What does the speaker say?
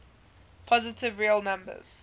positive real numbers